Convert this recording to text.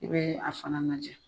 I bɛ a fana najɛ.